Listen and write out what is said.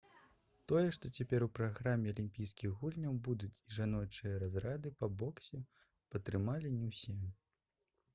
тое што цяпер у праграме алімпійскіх гульняў будуць і жаночыя разрады по боксе падтрымалі не ўсе